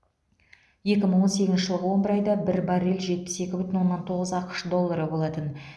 екі мың он сегізінші жылғы он бір айда бір баррель жетпіс екі бүтін оннан тоғыз ақш доллары болатын